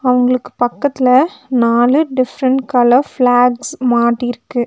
அவுங்களுக்கு பக்கத்ல நாலு டிஃப்ரண்ட் கலர் ஃபிளாக்ஸ் மாட்டிருக்கு.